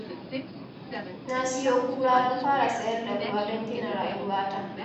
Na siyo kura don fara sayar da ruwa don gina rayuwata